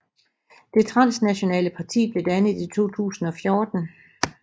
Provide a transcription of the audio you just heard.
Det transnationale parti blev dannet i 2014